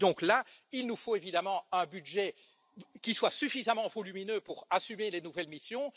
Et donc là, il nous faut évidemment un budget qui soit suffisamment volumineux pour assumer les nouvelles missions.